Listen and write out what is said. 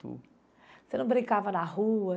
Você não brincava na rua?